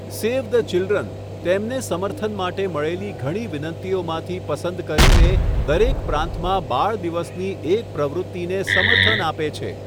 Save the Children' તેમને સમર્થન માટે મળેલી ઘણી વિનંતીઓમાંથી પસંદ કરીને દરેક પ્રાંતમાં બાળ દિવસની એક પ્રવૃત્તિને સમર્થન આપે છે.